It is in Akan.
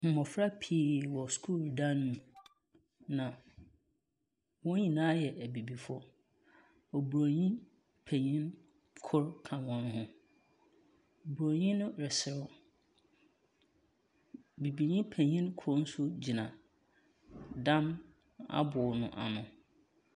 Mmofra pii wɔ sukuu dan mu. Na wɔn nyinaa yɛ abibifo. Obroni panyin koro ka wɔn ho. Obroni no reserew. Bibinii panyin koro nso gyina dan abo no ano.